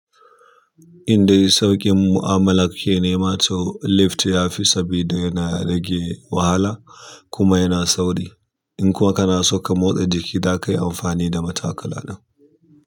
Indai sauƙin mu'amala kake ne ma, to lift ya fi saboda yana rage wahala kuma yana sauri. In kuma kana so ka motsa jiki zaka yi amfani da matakalan.